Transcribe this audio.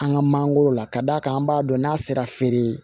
An ka mangoro la ka d'a kan an b'a dɔn n'a sera feere ye